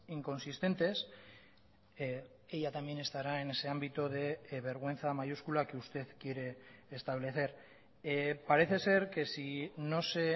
inconsistentes ella también estará en ese ámbito de vergüenza mayúscula que usted quiere establecer parece ser que si no se